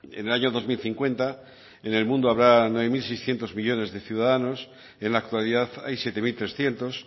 en el año dos mil cincuenta en el mundo habrá nueve mil seiscientos millónes de ciudadanos en la actualidad hay siete mil trescientos